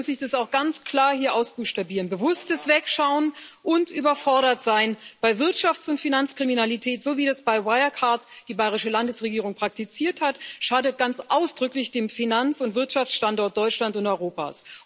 Deswegen muss ich das auch ganz klar hier ausbuchstabieren Bewusstes Wegschauen und überfordert sein bei Wirtschafts und Finanzkriminalität, so wie das bei Wirecard die bayrische Landesregierung praktiziert hat, schadet ganz ausdrücklich dem Finanz und Wirtschaftsstandort Deutschland und Europa.